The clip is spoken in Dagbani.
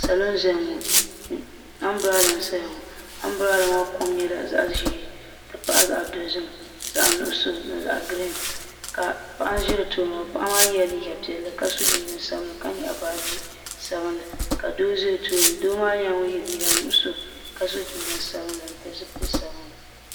Salo n ʒɛya ŋɔ ambrada n saya ŋɔ ambrada maa kom nyɛla zaɣa ʒee n ti pahi zaɣa dozim nuɣuso ni zaɣa girin ka paɣa n ʒi di tooni ŋɔ paɣa maa yela liiga piɛlli ka so jinjiɛm sabinli ka nyaɣi baaji sabinli doo za o tooni ka nyɛ ŋun ye liiga nuɣuso ka so jinjiɛm sabinli n pili zipil'sabinli.